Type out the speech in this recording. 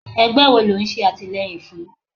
Ẹgbẹ́ wo lò ń ṣe àtìleyìn fún?